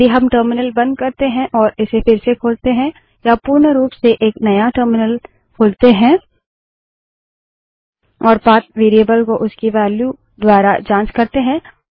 यदि हम टर्मिनल बंद करते हैं और इसे फिर से खोलते हैं या पूर्ण रूप से एक नया टर्मिनल खोलते हैं और पाथ वेरिएबल को उसकी वेल्यू द्वारा की जाँच करते हैं